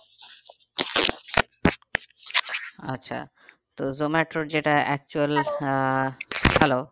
আচ্ছা তো জোমাটোর যেটা actual hello